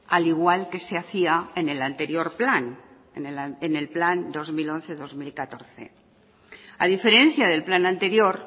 al igual que se hacía en el anterior plan en el plan dos mil once dos mil catorce a diferencia del plan anterior